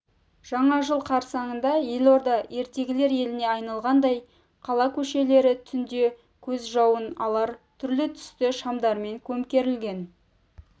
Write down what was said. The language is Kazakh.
жаңа жыл қарсаңында елорда ертегілер еліне айналғандай қала көшелері түнде көз жауын алар түрлі-түсті шамдармен көмкерілген